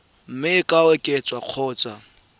mme e ka oketswa kgotsa